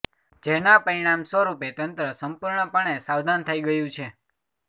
જેના પરિણામ સ્વરૂપે તંત્ર સંપૂર્ણપણે સાવધાન થઈ ગયું છે